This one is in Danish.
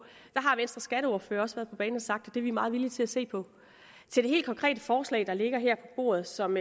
har venstres skatteordfører også været på banen og sagt at det er vi meget villige til at se på til det helt konkrete forslag der ligger her på bordet og som